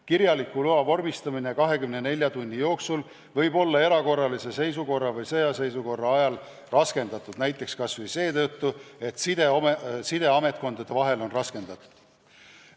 Kirjaliku loa vormistamine 24 tunni jooksul võib olla erakorralise seisukorra või sõjaseisukorra ajal raskendatud, näiteks kas või seetõttu, et sidepidamine ametkondade vahel on raskendatud.